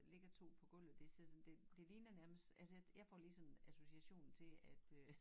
Ligger 2 på gulvet det ser sådan det det ligner nærmest altså jeg får lige sådan association til at øh